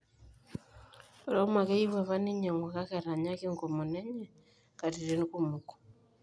Roma keyieu apa neinyangu kake etanyaki enkomono enye katitin kumok